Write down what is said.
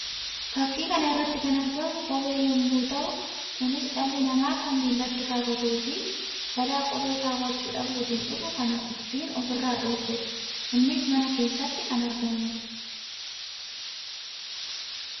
Fakkii kana irratti kan argamu kophee yammuu tahu; kunis dhalli namaa kan miillatti kaawwatuu fi balaa kophee kaawwachuu dhabuutiin dhufu kan ittiin of irraa dhorkuu dha. Innis mana keessatti kan argamuu dha.